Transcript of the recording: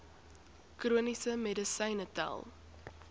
chroniese medisyne tel